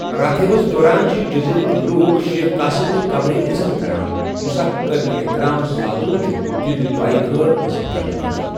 راتھیبس دوران چھِ جٔزیٖرٕک لوک شیخ قاسم نہ قبر عزت کران یس اکھ قٲبلہِ احترام سادو چھُ تہنٛد دعایہ خٲر حٲصِل کرنہٕ خٲطرٕ۔